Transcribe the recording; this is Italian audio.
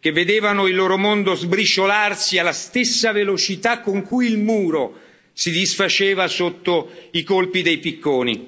che vedevano il loro mondo sbriciolarsi alla stessa velocità con cui il Muro si disfaceva sotto i colpi dei picconi.